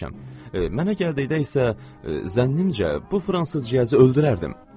Mənə gəldikdə isə, zənnimcə, bu fransız ciyəzi öldürərdim.